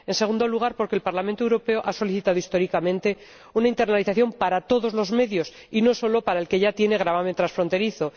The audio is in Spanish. A continuación, porque el Parlamento Europeo ha solicitado históricamente una internalización para todos los medios y no sólo para el que ya tiene gravamen transfronterizo.